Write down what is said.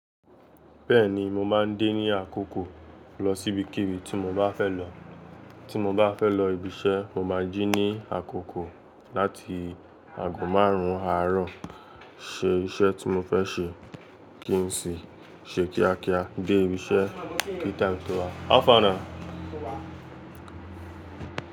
Bẹ́ẹ̀ni, mo máa ń dé ní àkókò lọ síbikíbi tí mo bá fẹ́ lọ. Tí mo bá fẹ́ lọ ibiṣẹ́, mo máa jí ní àkókò láti ago márùn-ún àárọ̀ ṣe iṣẹ́ tí mo fẹ́ ṣe kí n sì ṣe kíákíá dé ibiṣẹ́ ní tìme tó wà.